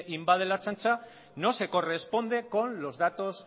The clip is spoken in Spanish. invade la ertzaintza no se corresponde con los datos